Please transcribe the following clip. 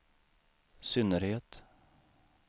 synnerhet